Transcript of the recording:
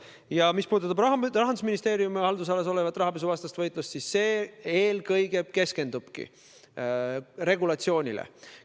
Ja mis puudutab Rahandusministeeriumi haldusalas olevat rahapesuvastast võitlust, siis see eelkõige keskendubki regulatsioonile.